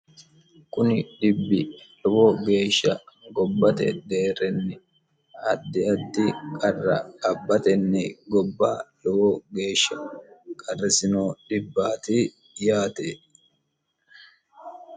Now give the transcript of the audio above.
kuni dhibbi lowo geeshsha gobbate deerrenni addi addi qarra abbatenni gobba lowo geeshsha qarrisino dhibbaati yaate